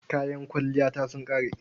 Kayan kwalliyata sun ƙare.